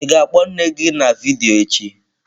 Ị ga-akpọ nne gị na vidiyo echi?